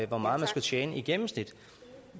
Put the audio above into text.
hvor meget man skulle tjene i gennemsnit